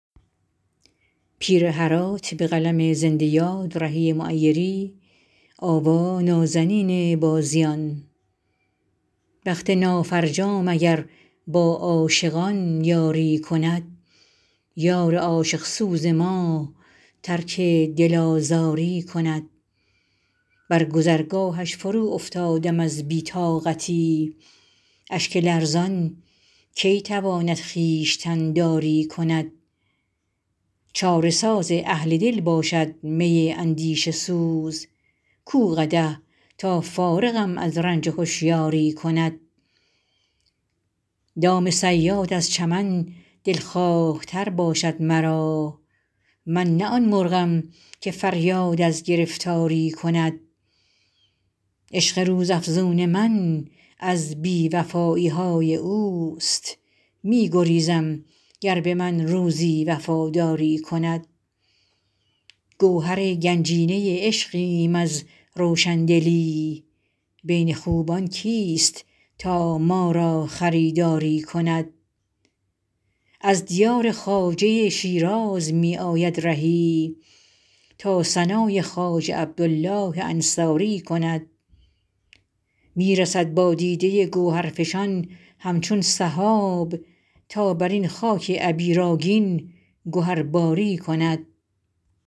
بخت نافرجام اگر با عاشقان یاری کند یار عاشق سوز ما ترک دل آزاری کند بر گذرگاهش فرو افتادم از بی طاقتی اشک لرزان کی تواند خویشتن داری کند چاره ساز اهل دل باشد می اندیشه سوز کو قدح تا فارغم از رنج هوشیاری کند دام صیاد ار چمد دلخواه تر باشد مرا من نه آن مرغم که فریاد از گرفتاری کند عشق روز افزون من از بی وفایی های اوست می گریزم گر به من روزی وفاداری کند گوهر گنجینه عشقیم از روشندلی بین خوبان کیست تا ما را خریداری کند از دیار خواجه شیراز می آید رهی تا ثنای خواجه عبدالله انصاری کند می رسد با دیده گوهرفشان همچون سحاب تا بر این خاک عبیرآگین گهرباری کند